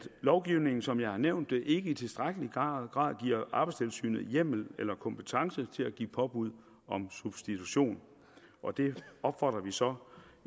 lovgivningen som jeg har nævnt det ikke i tilstrækkelig grad giver arbejdstilsynet hjemmel eller kompetence til at give påbud om substitution og der opfordrer vi så